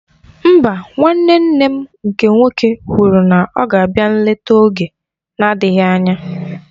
Mba, nwanne nne m nke nwoke kwụrụ na ọ ga-abịa nlete oge na-adịghị anya